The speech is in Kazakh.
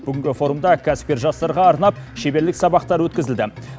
бүгінгі форумда кәсіпкер жастарға арнап шеберлік сабақтар өткізілді